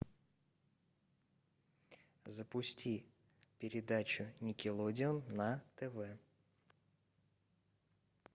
запусти передачу никелодеон на тв